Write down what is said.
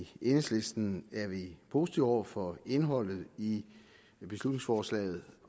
enhedslisten er positive over for indholdet i beslutningsforslaget